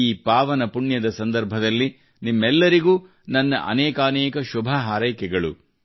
ಈ ಪಾವನ ಪುಣ್ಯದ ಸಂದರ್ಭದಲ್ಲಿ ನಿಮ್ಮೆಲ್ಲರಿಗೂ ನನ್ನ ಅನೇಕಾನೇಕ ಶುಭ ಹಾರೈಕೆಗಳು